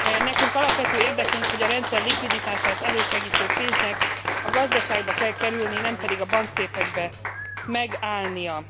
Nekünk alapvető érdekünk, hogy a rendszerlikviditást elősegítő pénznek a gazdaságba kell kerülni, nem pedig a bankszéfekben megállnia.